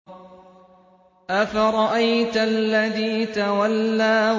أَفَرَأَيْتَ الَّذِي تَوَلَّىٰ